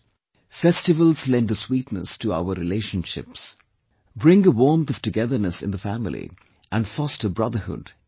Festivals lend a sweetness to our relationships, bring a warmth of togetherness in the family and foster brotherhood in society